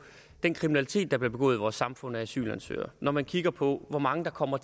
den kriminalitet der bliver begået i vores samfund af asylansøgere når man kigger på hvor mange der kommer